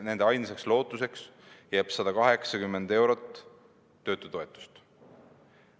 Nende ainsaks lootuseks jääb 180 eurot töötutoetust.